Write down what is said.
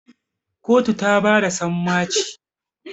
kotu ta bada sammaci